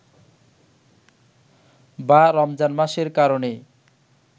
বা রমজান মাসের কারণেই